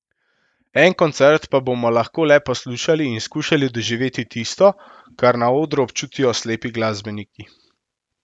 En koncert pa bomo lahko le poslušali in skušali doživeti tisto, kar na odru občutijo slepi glasbeniki.